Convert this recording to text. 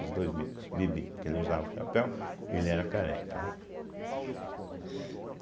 Dos dois bicos, bibi, porque ele usava o chapéu e ele era careca, né?